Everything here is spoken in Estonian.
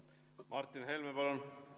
Martin Helme, palun!